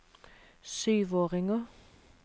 syvåringer